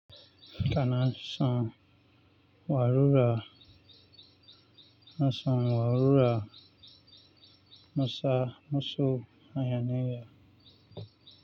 Kana shan wa rura, na san wa rura, na sa na so hayanai ya.